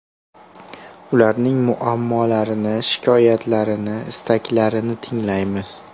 Ularning muammolarini, shikoyatlarini, istaklarini tinglaymiz.